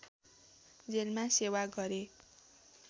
जेलमा सेवा गरे